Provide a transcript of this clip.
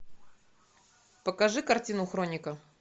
покажи картину хроника